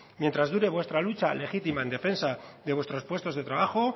mientras dure vuestra lucha legítima en defensa de vuestros puestos de trabajo